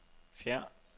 fjern